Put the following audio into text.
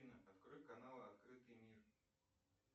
афина открой канал открытый мир